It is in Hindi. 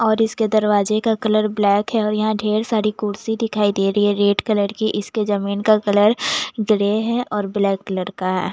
और इसके दरवाजे का कलर ब्लैक है और यहाँ ढेर सारी कुर्सी दिखाई दे रही है रेड कलर की इसके जमीन का कलर ग्रे है और ब्लैक कलर का है --